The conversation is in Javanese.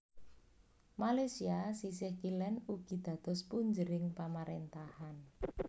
Malaysia sisih kilen ugi dados punjering pamarentahan